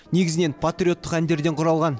негізінен патриоттық әндерден құралған